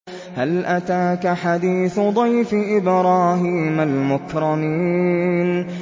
هَلْ أَتَاكَ حَدِيثُ ضَيْفِ إِبْرَاهِيمَ الْمُكْرَمِينَ